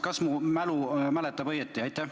Kas mu mälu mäletab õigesti?